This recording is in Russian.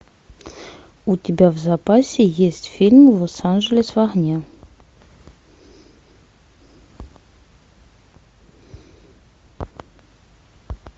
у тебя в запасе есть фильм лос анджелес в огне